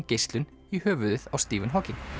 geislun í höfuðið á Stephen Hawking